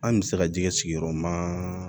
An bɛ se ka jɛgɛ sigiyɔrɔma